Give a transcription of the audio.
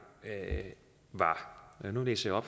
og nu læser